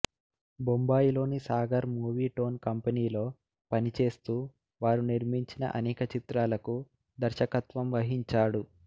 బొంబాయిలోని Sagar Movietone కంపెనీలో పనిచేస్తూ వారు నిర్మించిన ఆనేక చిత్రాలకు దర్శకత్వం వహించాడు